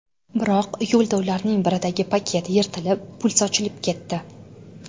Biroq yo‘lda ularning biridagi paket yirtilib, pul sochilib ketdi.